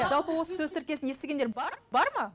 жалпы осы сөз тіркесін естігендер бар бар ма